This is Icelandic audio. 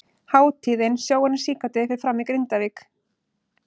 Hátíðin Sjóarinn síkáti fer fram í Grindavík.